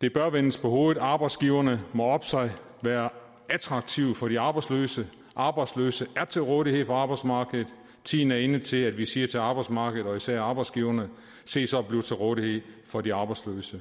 det bør vendes på hovedet arbejdsgiverne må oppe sig være attraktive for de arbejdsløse arbejdsløse er til rådighed for arbejdsmarkedet tiden er inde til at vi siger til arbejdsmarkedet og især arbejdsgiverne se så at blive til rådighed for de arbejdsløse